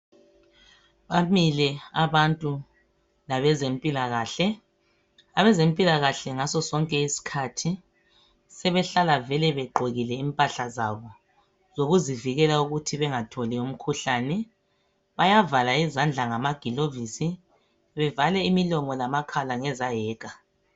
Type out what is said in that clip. Bamile abantu labezempilakahle. Abezempilakahle ngaso sonke isikhathi sebehlala vele begqokile impahla zabo zokuzivikela ukuthi bengatholi imikhuhlane, bayavala izandla ngamagilovisi bevale imilomo lamakhala ngezayeka.